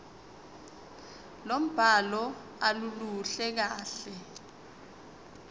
lombhalo aluluhle kahle